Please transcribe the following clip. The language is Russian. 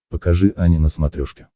покажи ани на смотрешке